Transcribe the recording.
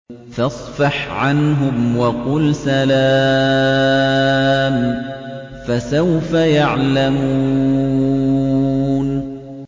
فَاصْفَحْ عَنْهُمْ وَقُلْ سَلَامٌ ۚ فَسَوْفَ يَعْلَمُونَ